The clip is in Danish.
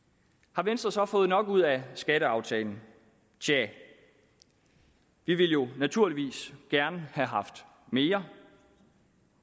har venstre så fået nok ud af skatteaftalen tja vi ville jo naturligvis gerne have haft mere